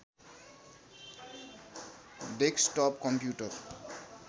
desktop computer